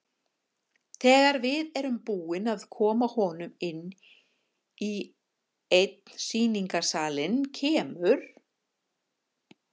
Þegar við erum búin að koma honum inn í einn sýningarsalinn kemur